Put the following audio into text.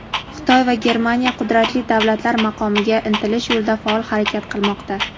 Xitoy va Germaniya qudratli davlatlar maqomiga intilish yo‘lida faol harakat qilmoqda.